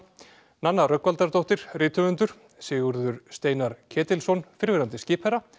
Nanna Rögnvaldardóttir rithöfundur Sigurður Steinar Ketilsson fyrrverandi skipherra